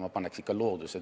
Ma paneks ikka looduse